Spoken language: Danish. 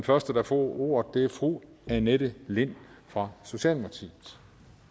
første der får ordet er fru annette lind fra socialdemokratiet